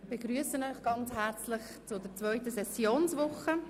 Ich begrüsse Sie ganz herzlich zur zweiten Sessionswoche.